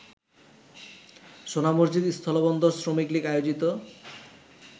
সোনামসজিদ স্থলবন্দর শ্রমিকলীগ আয়োজিত